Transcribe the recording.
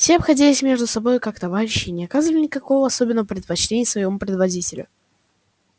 все обходились между собою как товарищи и не оказывали никакого особенного предпочтения своему предводителю